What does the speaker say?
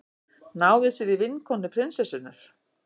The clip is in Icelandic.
Náði sér í vinkonu prinsessunnar